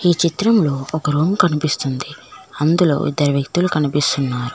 ఈ చిత్రంలో ఒక రూమ్ కనిపిస్తుంది అందులో ఇద్దరు వ్యక్తులు కనిపిస్తున్నారు.